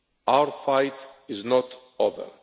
Our fight is not over.